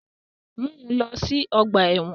Mu u lọ si ọgba ẹ́wọ̀n!